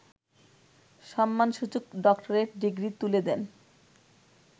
সম্মানসূচক doctorate degree তুলে দেন